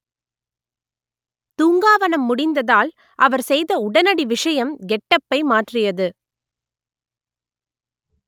தூங்கா வனம் முடிந்ததால் அவர் செய்த உடனடி விஷயம் கெட்டப்பை மாற்றியது